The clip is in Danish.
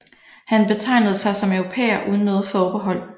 Han betegnede sig som europæer uden noget forbehold